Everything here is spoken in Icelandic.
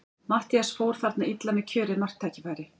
Matthías fór þarna illa með kjörið marktækifæri.